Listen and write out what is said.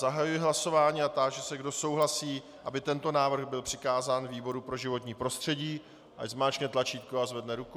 Zahajuji hlasování a táži se, kdo souhlasí, aby tento návrh byl přikázán výboru pro životní prostředí, ať zmáčkne tlačítko a zvedne ruku.